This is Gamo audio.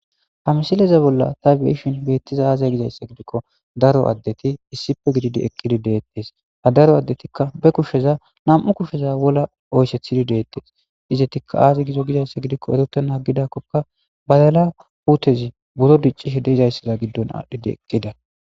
ha misileza bolla ta beishin beettiza aazay gizayssa gidikko daro addeti issife gididi ekkidi deettes ha daro addetikka be kusheza nam7u kusheza wola oysethidi deettes izetikka aazi gizo gizayssa gidikko erotena gidakkokka badala puutezi buro diccishe deizayssaza giddon aadhdhidi ekida